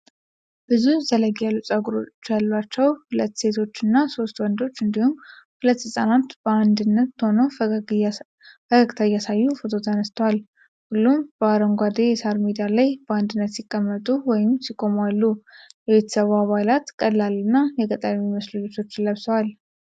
ብዙ ዘለግ ያሉ ፀጉሮች ያሏቸው ሁለት ሴቶችና ሦስት ወንዶች፣ እንዲሁም ሁለት ህፃናት በአንድነት ሆነው ፈገግታ እያሳዩ ፎቶ ተነስተዋል። ሁሉም በአረንጓዴ የሣር ሜዳ ላይ በአንድነት ሲቀመጡ ወይም ሲቆሙኡአሉ። የቤተሰቡ አባላት ቀላል እና የገጠር የሚመስሉ ልብሶችን ለብሰዋል።